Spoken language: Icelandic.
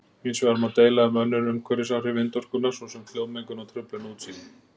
Hins vegar má deila um önnur umhverfisáhrif vindorkunnar svo sem hljóðmengun og truflun á útsýni.